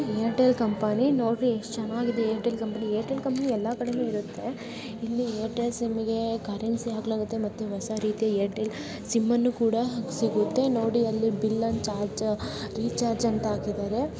Airtel company ನೋಡ್ರಿ ಎಷ್ಟ್ ಚೆನ್ನಾಗಿದೆ ಏರ್ಟೆಲ್ ಕಂಪನಿ . ಏರ್ಟೆಲ್ ಕಂಪನಿ ಎಲ್ಲಾ ಕಡೆನೂ ಇರತ್ತೆ ಇಲ್ಲಿ ಏರ್ಟೆಲ್ ಸಿಮ್ ಗೆ ಕರೆನ್ಸಿ ಹಾಕಲಾಗುತ್ತೆ. ಮತ್ತೆ ಹೊಸ ರೀತಿಯ ಏರ್ಟೆಲ್ ಸಿಮ್ ಅನ್ನು ಕೂಡ ಸಿಗುತ್ತೆ. ನೋಡಿ ಅಲ್ಲಿ ಬಿಲ್ ಅನ್ನ ಚಾರ್ಜ್ ರಿಚಾರ್ಜ್ ಅಂತ ಹಾಕಿದ್ದಾರೆ.